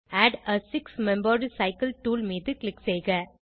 add a six membered cycle tool மீது click செய்க